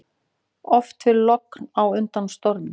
Oft fer logn á undan stormi.